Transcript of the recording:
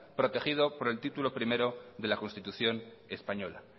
protegido por el título primero de la constitución española